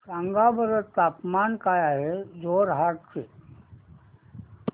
सांगा बरं तापमान काय आहे जोरहाट चे